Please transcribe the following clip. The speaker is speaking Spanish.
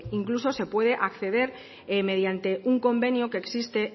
incluso se puede acceder mediante un convenio que existe